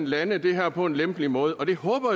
lande det her på en lempelig måde og det håber